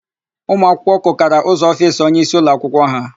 Ụmụakwụkwọ kụkara ụzọ ofiisi onyeisi ụlọakwụkwọ ha.